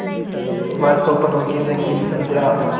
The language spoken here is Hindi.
वह स्वप्नों की रंगीन संध्या